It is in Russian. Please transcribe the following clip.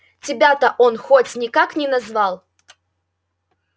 тебя-то он хоть никак не назвал